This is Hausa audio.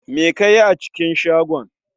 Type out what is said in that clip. Me kayi a cikin shagon?